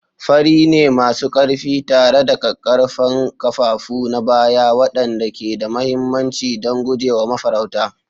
Fari ne masu ƙarfi tare da ƙaƙƙarfan kafafu na baya waɗanda ke da mahimmanci don guje wa mafarauta.